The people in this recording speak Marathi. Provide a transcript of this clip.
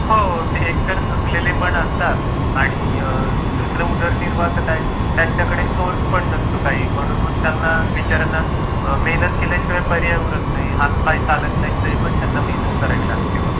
हो ते एकतर थकलेले पण असतात आणि दुसरा उदरनिर्वाहाचा काय त्यांच्याकडे सोर्स पण नसतो काही म्हणून बिचार्यांना मेहनत केल्याशिवाय पर्याय उरत नाही हात पाय चालत नाहीत तरी पण त्यांना मेहनत करावी लागते मग.